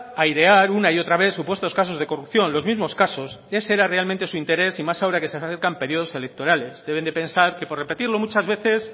airear una y otra vez supuestos casos de corrupción los mismos casos ese era realmente su interés y más ahora que se acercan periodos electorales deben de pensar que por repetirlo muchas veces